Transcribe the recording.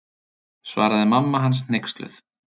Svaraði mamma hans hneyksluð.